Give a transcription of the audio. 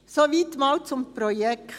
Soweit einmal zum Projekt.